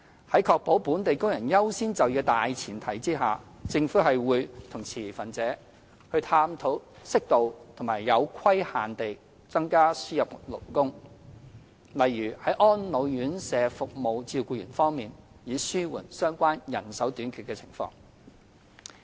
在確保本地工人優先就業的大前提下，政府會與持份者探討適度和有規限地增加輸入勞工，例如在安老院舍服務照顧員方面，以紓緩相關人手短缺的情況。